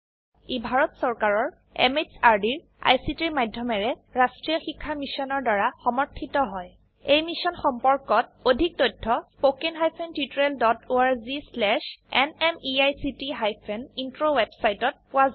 ই ভাৰত চৰকাৰৰ MHRDৰ ICTৰ মাধয়মেৰে ৰাস্ত্ৰীয় শিক্ষা মিছনৰ দ্ৱাৰা সমৰ্থিত হয় এই মিশ্যন সম্পৰ্কত অধিক তথ্য spoken hyphen tutorial dot org slash এনএমইআইচিত হাইফেন ইন্ট্ৰ ৱেবচাইটত পোৱা যাব